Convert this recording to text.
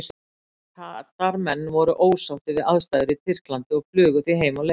Katar menn voru ósáttir við aðstæður í Tyrklandi og flugu því heim á leið.